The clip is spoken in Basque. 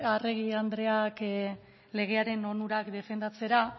arregi andreak legearen onurak defendatzera